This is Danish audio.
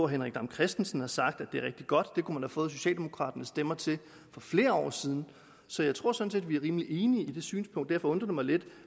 henrik dam kristensen har sagt at det er rigtig godt og at man kunne få socialdemokraternes stemmer til det for flere år siden så jeg tror sådan set vi er rimelig enige i det synspunkt og derfor undrer det mig lidt